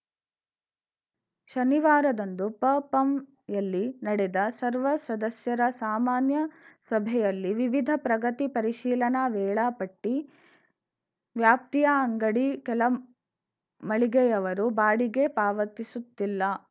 ಶನಿವಾರದಂದು ಪಪಂಯಲ್ಲಿ ನಡೆದ ಸರ್ವ ಸದಸ್ಯರ ಸಾಮಾನ್ಯ ಸಭೆಯಲ್ಲಿ ವಿವಿಧ ಪ್ರಗತಿ ಪರಿಶೀಲನಾ ವೇಳಾ ಪಟ್ಟಿ ವ್ಯಾಪ್ತಿಯ ಅಂಗಡಿ ಕೆಲ ಮಳಿಗೆಯವರು ಬಾಡಿಗೆ ಪಾವತಿಸುತ್ತಿಲ್ಲ